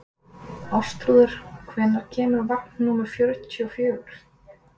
Ástþrúður, hvenær kemur vagn númer fjörutíu og fjögur?